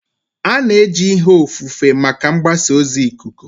A na-eji ihe ofufe maka mgbasa ozi ikuku.